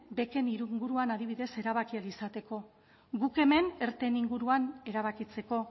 beken inguruan adibidez erabaki ahal izateko guk hemen erteen inguruan erabakitzeko